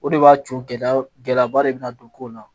O de b'a to gɛlɛya gɛlɛyaba de bɛ na don ko la